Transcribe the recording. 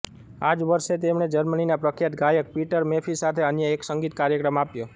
આ જ વર્ષે તેમણે જર્મનીના પ્રખ્યાત ગાયક પીટર મેફી સાથે અન્ય એક સંગીત કાર્યક્રમ આપ્યો